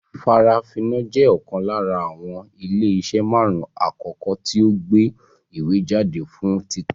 Farafina jẹ́ ọ̀kan lára àwọn ilé iṣẹ́ marun-un akoko tí o ń gbé ìwé jáde fún títa